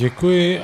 Děkuji.